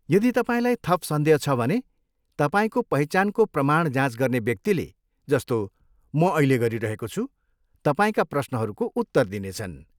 यदि तपाईँलाई थप सन्देह छ भने, तपाईँको पहिचानको प्रमाण जाँच गर्ने व्यक्तिले, जस्तो म अहिले गरिरहेको छु, तपाईँका प्रश्नहरूको उत्तर दिनेछन्।